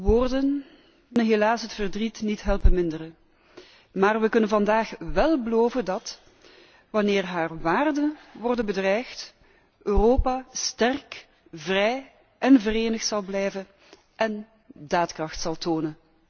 Woorden kunnen helaas het verdriet niet helpen minderen, maar wij kunnen vandaag wel beloven dat, wanneer haar waarden worden bedreigd, Europa sterk, vrij en verenigd zal blijven en daadkracht zal tonen.